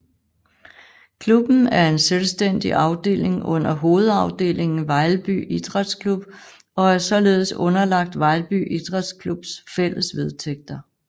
Klubben er en selvstændig afdeling under hovedafdelingen Vejlby Idræts Klub og er således underlagt Vejlby Idræts Klubs fælles vedtægter